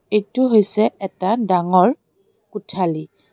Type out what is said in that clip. এইটো হৈছে এটা ডাঙৰ কোঠালি।